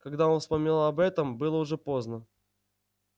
когда он вспомнил об этом было уже поздно